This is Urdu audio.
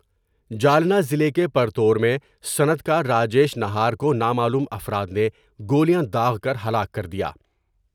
جالنہ ضلع کے پرتور میں صنعتکار راجیش نہار کو نامعلوم افراد نے گولیاں داغ کر ہلاک کر دیا ۔